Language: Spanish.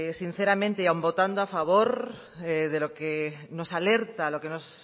sinceramente y aun votando a favor de lo que nos alerta lo que nos